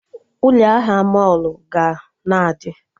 Ụlọ ahịa mọlụ ga na-adị